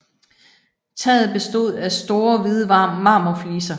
Taget bestod af store hvide marmorfliser